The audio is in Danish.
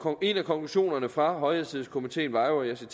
en af konklusionerne fra højhastighedskomiteen var jo